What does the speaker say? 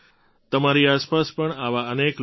તમારી આસપાસ પણ આવા અનેક લોકો હશે